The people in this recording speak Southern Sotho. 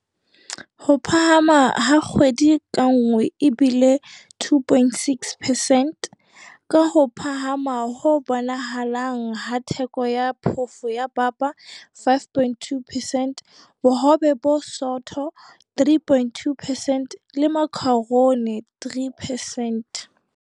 Ho phahama ha kgwedi ka nngwe e bile 2.6 percent, ka ho phahama ho bonahalang ha theko ya phofo ya papa 5.2 percent, bohobe bo bosootho 3.2 percent le makharoni 3 percent.